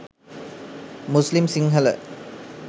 muslim sinhala